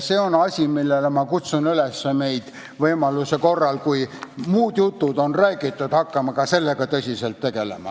See on asi, millega – ma kutsun meid üles – võiksime hakata võimaluse korral, kui muud jutud on räägitud, tõsiselt tegelema.